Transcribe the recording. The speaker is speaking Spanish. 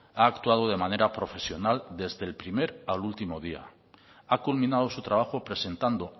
ha actuado de manera profesional desde el primer al último día ha culminado su trabajo presentando